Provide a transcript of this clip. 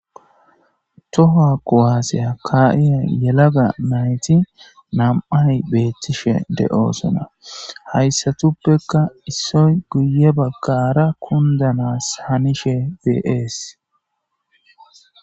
tToha qowaaseya ka7iya yelaga nayti nam7ay beettishe de7oosona hayssatuppekka issoy guye baggara kundanas hanishe bees.